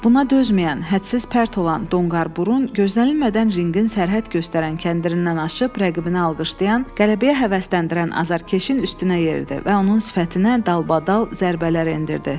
Buna dözməyən, hədsiz pərt olan donqarburun gözlənilmədən ringin sərhəd göstərən kəndirindən aşıb, rəqibini alqışlayan, qələbəyə həvəsləndirən azarkeşin üstünə yeridi və onun sifətinə dalbadal zərbələr endirdi.